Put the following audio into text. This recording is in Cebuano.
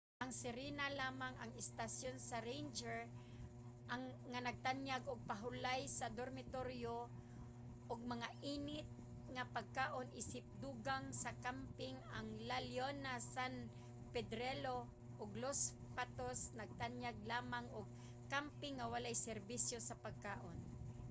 ang sirena lamang ang istasyon sa ranger nga nagtanyag og pahulay sa dormitoryo ug mga init nga pagkaon isip dugang sa kamping. ang la leona san pedrillo ug los patos nagtanyag lamang og kamping nga walay serbisyo sa pagkaon